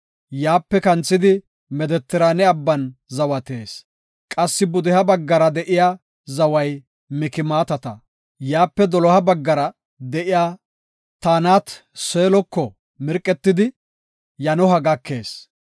Yaape kanthidi Medetiraane abban zawatees. Qassi pudeha baggara de7iya zaway Mikmaatata. Yaape doloha baggara de7iya Taanat-Seeloko mirqetidi, Yanoha gakees.